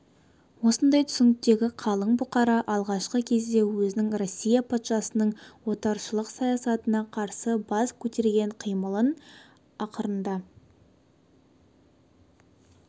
осындай түсініктегі қалың бұқара алғашқы кезде өзінің россия патшасының отаршылық саясатына қарсы бас көтерген қимылын ақырында